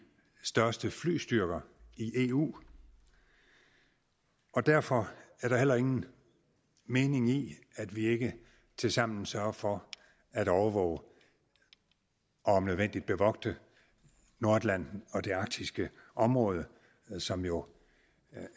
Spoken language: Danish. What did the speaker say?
største flystyrker i eu og derfor er der heller ingen mening i at vi ikke tilsammen sørger for at overvåge og om nødvendigt bevogte nordatlanten og det arktiske område som jo